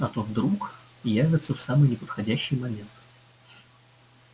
а то вдруг явятся в самый неподходящий момент